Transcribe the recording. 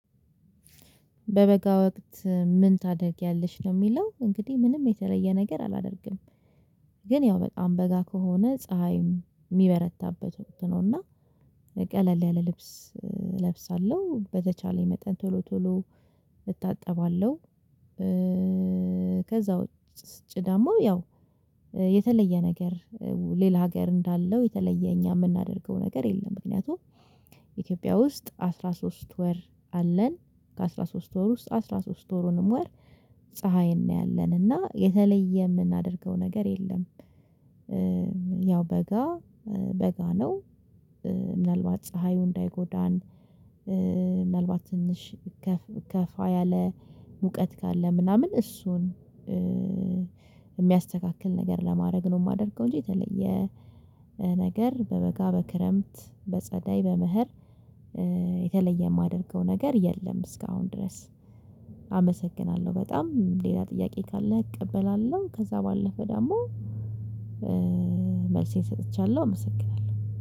በበጋ ወቅት ምን ታደርጊያለሽ ለሚለው እንግዲህ ምንም የተለየ ነገር አላደርግም። ግን ያው በጣም በጋ ከሆነ ፀሀይ ሚበረታበት ወቅት ነው። እና ቀለል ያለ ልብስ እለብሳለሁ በተቻለኝ መጠን ቶሎ ቶሎ እታጠባለሁ። ከዛ ውጪ ደግሞ ያው የተለየ ነገር ሌላ ሀገር እንዳለው የተለየ እኛ የምናደርገው ነገር የለም። ምክንያቱም ኢትዮጵያ ውስጥ አስራ ሶስት ወር አለን ከአስራ ሶስት ወር ውስጥ አስራ ሶስት ወሩንም ወር ፀሀይ እናያለን እና የተለየ የምናደርገው ነገር የለም። ያው በጋ በጋ ነው። ምናልባት ፀሀዩ እንዳይጎዳን ምናልባት ትንሽ ከፋ ያለ ሙቀት ካለ ምናምን እሱን የሚያስተካክል ነገር ለማድረግ ነው የማደርገው። እንጂ የተለየ ነገር በበጋ በክረምት በጸደይ በብሀር የተለየ የማደርገው ነገር የለም። እስካሁን ድረስ አመሰግናለሁ በጣም ሌላ ጥያቄ ካለ እቀበላለሁ ከዛ ባለፈ ደግሞ መልሴን ሰጥቻለሁ አመሰግናለሁ